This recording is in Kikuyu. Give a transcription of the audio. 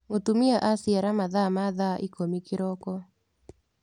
Mũtumia aciara mathaa ma thaa ikũmi kĩroko.